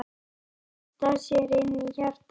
Að þrýsta sér inn í hjartað.